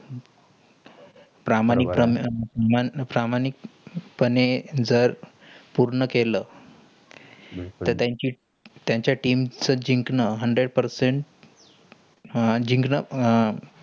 प्रामाणिक पणे प्रामाणिकपणे जर पूर्ण केला त्यांची त्यांच्या team चा जिकंण hundred percent आह जिकंण